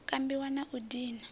u kambiwa na u dina